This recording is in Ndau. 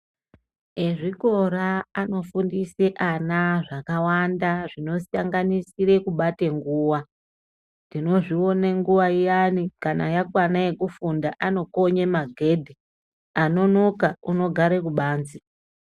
Ezvikora anofundisa ana zvakawanda zvinosanganisire kubate nguva tinozviona nguvaiyani kana yakwana yekufunda anokonye maghedhe anonoka anogare kubanze.